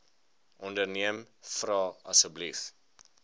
onderneem vra asseblief